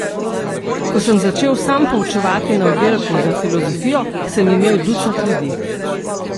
Ko sem začel sam poučevati na oddelku za filozofijo, sem imel ducat ljudi.